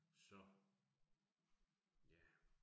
Så. Ja